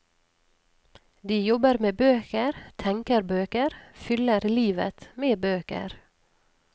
De jobber med bøker, tenker bøker, fyller livet med bøker.